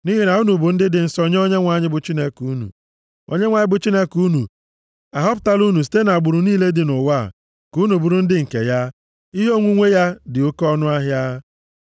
Nʼihi na unu bụ ndị dị nsọ nye Onyenwe anyị bụ Chineke unu. Onyenwe anyị bụ Chineke unu ahọpụtala unu site nʼagbụrụ niile dị nʼụwa a, ka unu bụrụ ndị nke ya, ihe onwunwe ya dị oke ọnụahịa.